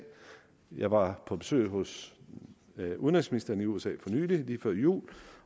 jeg var på besøg hos udenrigsministeren i usa for nylig lige før jul